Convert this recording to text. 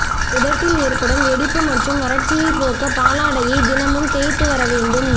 உதட்டில் ஏற்படும் வெடிப்பு மற்றும் வறட்சியை போக்க பாலாடையை தினமும் தேய்த்து வர வேண்டும்